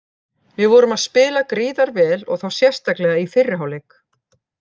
Við vorum að spila gríðar vel og þá sérstaklega í fyrri hálfleik.